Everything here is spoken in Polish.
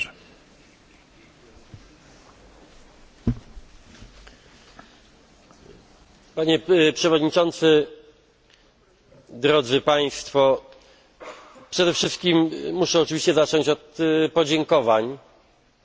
Panie Przewodniczący! Drodzy Państwo! Przede wszystkim muszę oczywiście zacząć od podziękowań za Wasze słowa, zarówno za te słowa, które